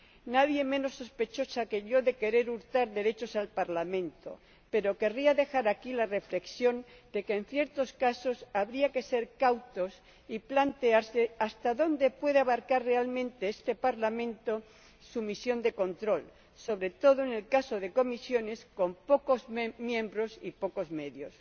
Nadie menos sospechosa que yo de querer hurtar derechos al Parlamento, pero querría dejar aquí la reflexión de que, en ciertos casos, habría que ser cautos y plantearse hasta dónde puede abarcar realmente este Parlamento su misión de control, sobre todo en el caso de comisiones con pocos miembros y pocos medios.